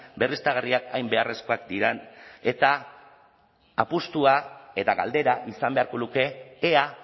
berriztagarriak hain beharrezkoak diren eta apustua eta galdera izan beharko luke ea